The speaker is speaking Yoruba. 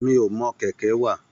Mi o mọ kẹkẹ wá.